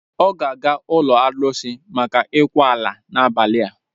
Ọ ga-aga ụlọ arụsị maka ịkwa ala n'abalị a.